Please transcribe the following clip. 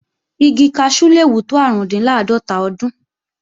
Igi kaṣú le wù tó árùndinláàdọ́tà ọdún